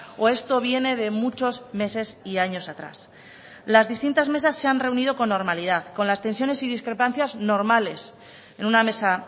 o esto viene de muchos meses y años atrás las distintas mesas se han reunido con normalidad con las tensiones y discrepancias normales en una mesa